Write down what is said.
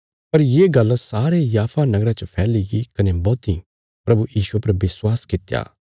पर ये गल्ल सारे याफा नगरा च फैलीगी कने बौहतीं प्रभु यीशुये पर विश्वास कित्या